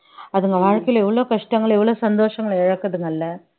அதுங்க வாழ்க்கையில எவ்வளவு கஷ்டங்கள் எவ்வளவு சந்தோஷங்களை இழக்குதுல